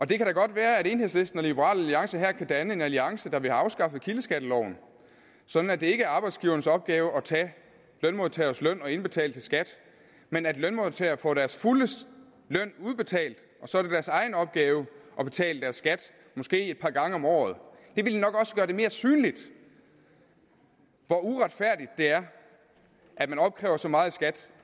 det kan da godt være at enhedslisten og liberal alliance her kan danne en alliance der vil have afskaffet kildeskatteloven sådan at det ikke er arbejdsgivernes opgave at tage lønmodtagernes løn og indbetale til skat men at lønmodtagerne får deres fulde løn udbetalt og så er det deres egen opgave at betale deres skat måske et par gange om året det ville nok også gøre det mere synligt hvor uretfærdigt det er at man opkræver så meget i skat